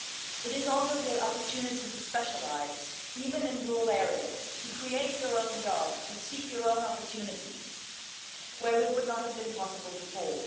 It is also the opportunity to specialise, even in rural areas, to create your own job, to seek your own opportunities where it would not have been possible before.